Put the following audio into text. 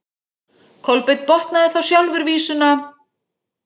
Kolbeinn botnaði þá sjálfur vísuna: